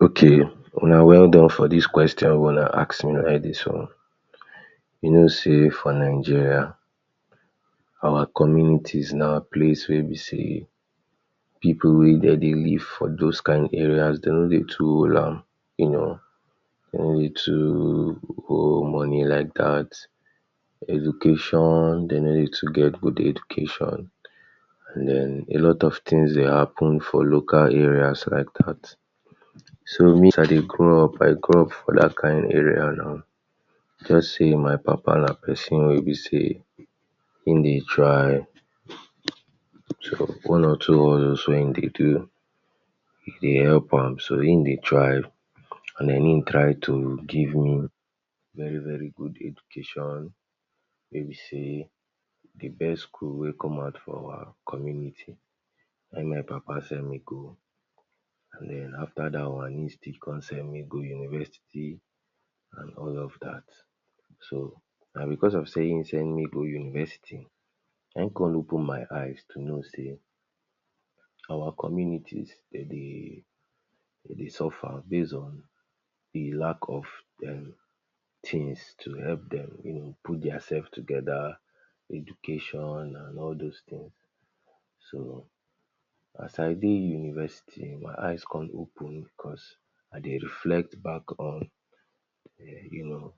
Okay, una welldone for dis question wey una ask me already so. You know sey for Nigeria, our communities na place wey be sey pipu wey de dey live for dos kain areas de no dey too hold am. You know, de no dey too hold money like dat. Education, de no dey too get good education. An then, a lot of tins dey happen for local areas like dat. So me, as I dey grow up, I grow up for dat kain area now. Juz sey my papa na peson wey be sey ein dey try one or two hustles wey ein dey do dey help am, so ein dey try an then ein try to give me very-very good education wey be sey the best school wey come out for our community na im my papa send me go. Then, after dat one, ein still con send me go university all of dat. So, na becos of sey ein send me go university na ein con open my eyes to know sey our communities, de dey de sey suffer base on the lack of um tins to help dem, you know put diasef together, education, an all dos tin. So, as I dey university, my eyes con open, I dey reflect back on you know,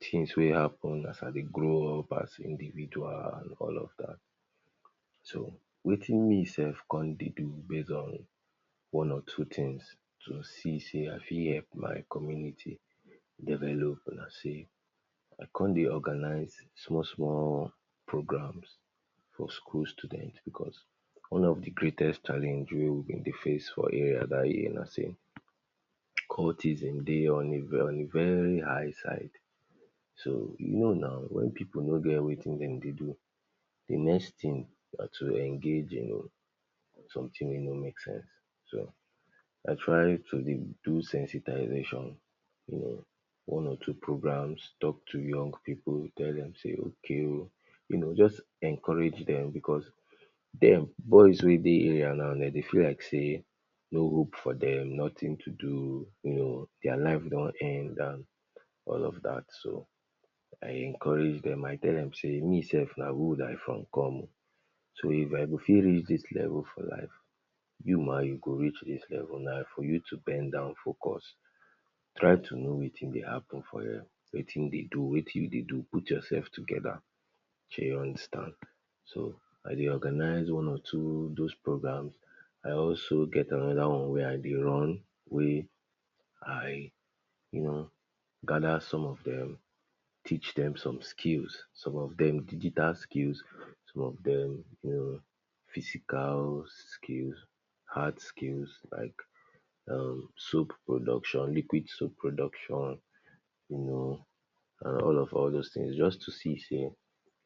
tins wey happen as I dey grow up as individual an all of dat. So, wetin me sef con dey do base on one or two tins to see sey I fit help my community develop na sey I con dey organize small-small program for school student becos one of the greatest challenge wey we dey face for area dat year na sey cultism dey on a very high side. So, you know now, wen pipu no get wetin dem dey do, the next tin, na to engage in something wey no make sense. So, I try to dey do sensitization. You know, one or two programs, talk to young pipu, tell dem sey okay oh you know, juz encourage dem becos dem boys wey dey area now de dey feel like sey no hope for dem, nothing to do, you know, dia life don end an all of dat. So, I encourage dem, I tell dem sey me sef na hood I from come. So, if I go fit reach dis level for life you ma you go reach dis level na for you to bend down focus. Try to know wetin dey happen for here, wetin you dey do, put yoursef together. Dey understand, So I dey organize one or two dos program. I also get another one wey I dey run wey I, you know, gather some of dem teach dem some skills. Some of dem digital skills, some of dem you know, physical skills, hard skills like um soap production, liquid soap production, you know an all of all of dos tins juz to see sey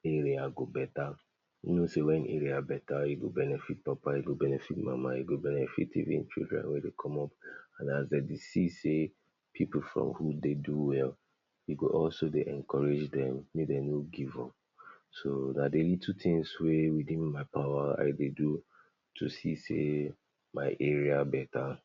area go beta. You know sey wen area beta, e go benefit papa, e go benefit mama, e go benefit even children wey dey come up. An as de dey see sey pipu from hood dey do well, e go also dey encourage dem make de no give up. So, na the little tins wey within my power I dey do to see sey my area beta.